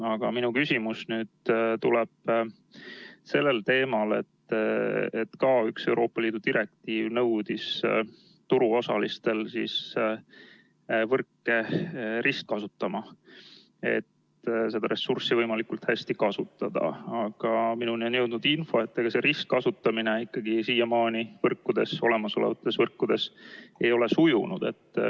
Aga minu küsimus tuleb sellel teemal, et ka üks Euroopa Liidu direktiiv nõudis turuosalistelt võrkude ristkasutamist, et seda ressurssi võimalikult hästi kasutada, aga minuni on jõudnud info, et see ristkasutamine ei ole ikkagi siiamaani olemasolevates võrkudes sujunud.